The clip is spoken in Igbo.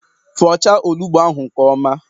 Fọchaa onugbụ ahụ nke ọma!